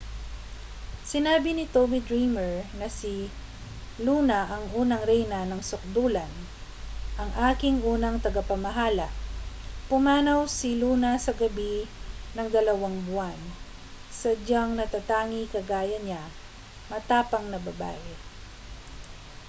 sinabi ni tommy dreamer na si luna ang unang reyna ng sukdulan ang aking unang tagapamahala pumanaw si luna sa gabi ng dalawang buwan sadyang natatangi kagaya niya matapang na babae